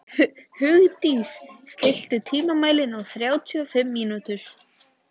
Hugdís, stilltu tímamælinn á þrjátíu og fimm mínútur.